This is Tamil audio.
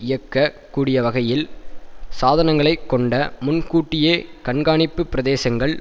இயக்கக் கூடியவகையில் சாதனங்களைக் கொண்ட முன்கூட்டியே கண்காணிப்பு பிரதேசங்கள்